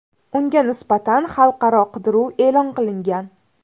Unga nisbatan xalqaro qidiruv e’lon qilingan .